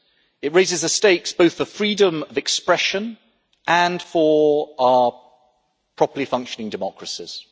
It raises the stakes both for freedom of expression and for our properly functioning democracies.